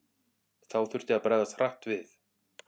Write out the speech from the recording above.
Þá þurfti að bregðast hratt við.